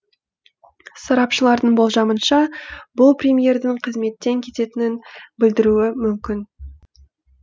сарапшылардың болжамынша бұл премьердің қызметтен кететінін білдіруі мүмкін